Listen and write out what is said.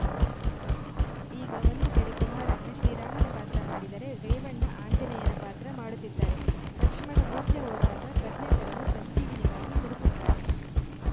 ಈಗ ಒಂದು ಕಡೆ ಕುಮಾರಣ್ಣ ಶ್ರೀರಾಮನ ಪಾತ್ರ ಮಾಡಿದರೆ ರೇವಣ್ಣ ಆಂಜನೇಯನ ಪಾತ್ರ ಮಾಡುತ್ತಿದ್ದಾರೆ ಲಕ್ಷ್ಮಣ ಮೂರ್ಛೆ ಹೋದಾಗ ಪ್ರಜ್ಞೆ ತರಲು ಸಂಜೀವಿನಿಗಾಗಿ ಹುಡುಕುತ್ತಾರೆ